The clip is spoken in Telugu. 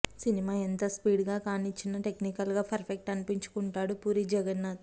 సినిమా ఎంత స్పీడ్ గా కానిచ్చినా టెక్నికల్ గా పర్ఫెక్ట్ అనిపించుకుంటాడు పూరి జగన్నాథ్